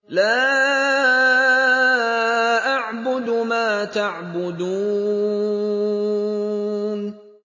لَا أَعْبُدُ مَا تَعْبُدُونَ